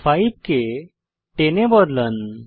5 কে 10 এ বদলান